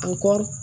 An kɔ